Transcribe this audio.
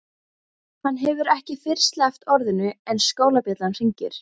Hann hefur ekki fyrr sleppt orðinu en skólabjallan hringir.